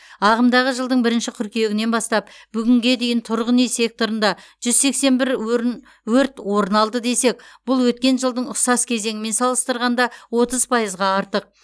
ағымдағы жылдың бірінші қыркүйегінен бастап бүгінге дейін тұрғын үй секторында жүз сексен бір өрін өрт орын алды десек бұл өткен жылдың ұқсас кезеңімен салыстырғанда отыз пайызға артық